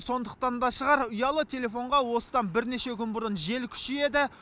сондықтан да шығар ұялы телефонға осыдан бірнеше күн бұрын жел күшейеді